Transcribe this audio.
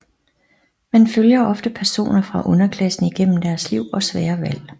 Man følger ofte personer fra underklassen igennem deres liv og svære valg